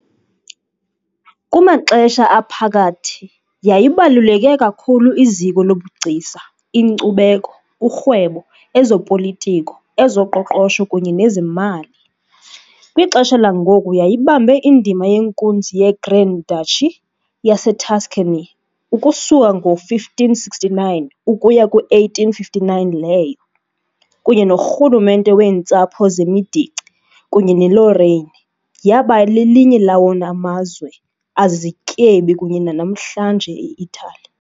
KumaXesha Aphakathi yayibaluleke kakhulu iziko lobugcisa, inkcubeko, urhwebo, ezopolitiko, ezoqoqosho kunye nezemali, kwixesha langoku yayibambe indima yenkunzi yeGrand Duchy yaseTuscany ukusuka ngo-1569 ukuya ku-1859 leyo, kunye norhulumente weentsapho zeMedici kunye neLorraine, yaba lelinye lawona mazwe azizityebi kunye nanamhlanje eItali.